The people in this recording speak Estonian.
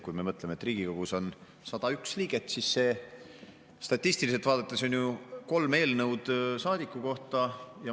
Kui me mõtleme, et Riigikogus on 101 liiget, siis see statistiliselt vaadates on ju kolm eelnõu saadiku kohta.